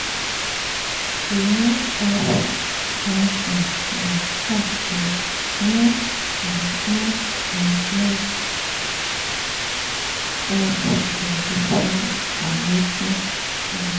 she um help one time but talk say next um next um help go depend on wetin she need